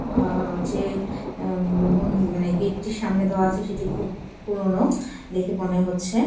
আহ যে আহ গেট -টির সামনে দ্বারা আছে সেটি খুব পুরোনো দেখে মনে হচ্ছে।